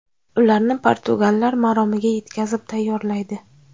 Ularni portugallar maromiga yetkazib tayyorlaydi.